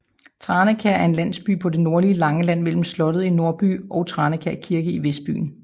Tranekær er en landsby på det nordlige Langeland mellem slottet i nordbyen og Tranekær Kirke i vestbyen